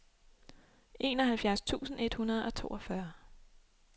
enoghalvfjerds tusind et hundrede og toogfyrre